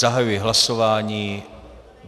Zahajuji hlasování.